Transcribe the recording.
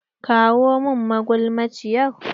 Kawo min magulmaciyar!